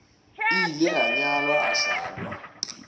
ile a nyalwa a hlalwa